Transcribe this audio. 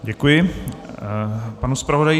Děkuji, panu zpravodaji.